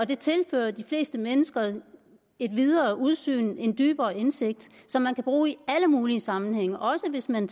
der tilfører de fleste mennesker et videre udsyn og en dybere indsigt som man kan bruge i alle mulige sammenhænge også hvis man